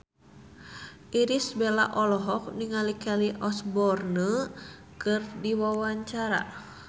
Irish Bella olohok ningali Kelly Osbourne keur diwawancara